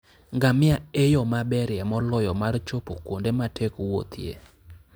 Ngamia e yo maberie moloyo mar chopo kuonde matek wuothie.